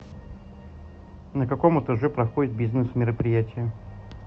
на каком этаже проходят бизнес мероприятия